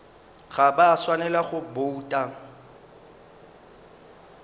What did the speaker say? ga ba swanela go bouta